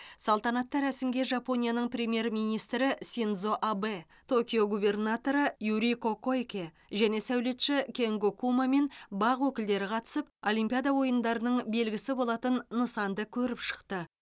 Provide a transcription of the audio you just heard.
салтанатты рәсімге жапонияның премьер министрі синдзо абэ токио губернаторы юрико койке және сәулетші кенго кума мен бақ өкілдері қатысып олимпиада ойындардың белгісі болатын нысанды көріп шықты